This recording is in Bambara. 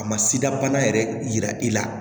A ma sida bana yɛrɛ yira i la